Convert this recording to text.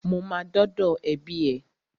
Mo ma dọ́dọ̀ ẹbí ẹ.